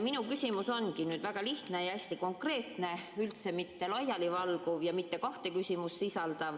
Minu küsimus ongi väga lihtne ja hästi konkreetne, üldse mitte laialivalguv ja mitte kahte küsimust sisaldav.